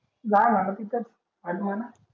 जय म्हणा तिथंच घाल म्हणा